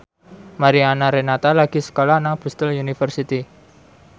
Mariana Renata lagi sekolah nang Bristol university